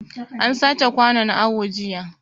An sace kwanun awo jiya